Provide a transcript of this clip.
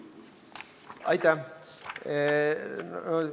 Aitäh!